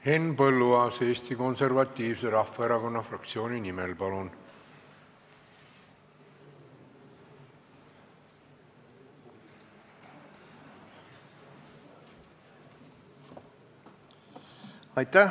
Henn Põlluaas Eesti Konservatiivse Rahvaerakonna fraktsiooni nimel, palun!